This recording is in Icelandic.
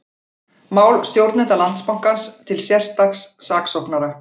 Mál stjórnenda Landsbankans til sérstaks saksóknara